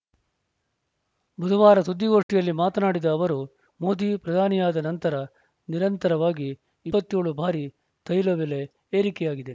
ಬುಧವಾರ ಸುದ್ದಿಗೋಷ್ಠಿಯಲ್ಲಿ ಮಾತನಾಡಿದ ಅವರು ಮೋದಿ ಪ್ರಧಾನಿಯಾದ ನಂತರ ನಿರಂತರವಾಗಿ ಇಪ್ಪತ್ತ್ ಏಳು ಬಾರಿ ತೈಲ ಬೆಲೆ ಏರಿಕೆಯಾಗಿದೆ